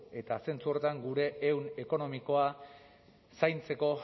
eta zentzu horretan gure ehun ekonomikoa zaintzeko